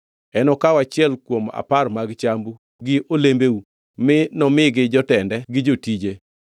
Enokaw achiel kuom apar mag chambu gi olembeu mi nomigi jotende gi jotije.